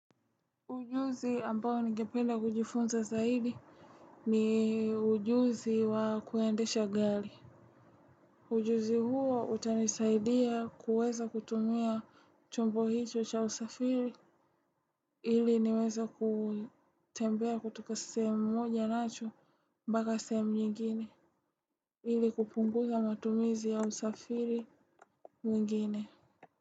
Ujuzi ambayo ningependa kujifunza zaidi ni ujuzi wa kuendesha gari. Ujuzi huo utanisaidia kuweza kutumia chombo hicho cha usafiri. Ili niweza kutembea kutoka sehemu moja nacho mpaka sehemu nyingine. Ili kupunguza matumizi ya usafiri mwingine.